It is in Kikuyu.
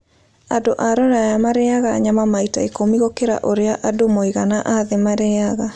Andũ a Rũraya marĩĩaga nyama maita ikũmi gũkĩra ũrĩa andũ mũigana a thĩ marĩĩaga.